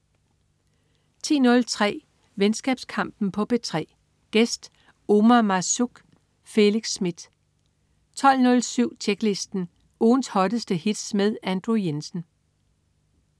10.03 Venskabskampen på P3. Gæst: Omar Marzouk. Felix Smith 12.07 Tjeklisten. Ugens hotteste hits med Andrew Jensen